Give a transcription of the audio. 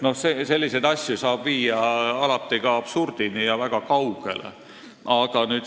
Selliseid asju saab alati viia ka absurdini ja väga kaugele.